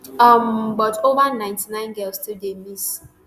um but ova ninety girls still dey miss.